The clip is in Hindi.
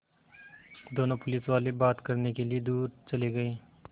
दोनों पुलिसवाले बात करने के लिए दूर चले गए